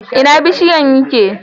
Ina bishiyan yake?